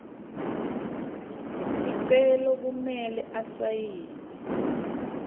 sicelo kumele asayine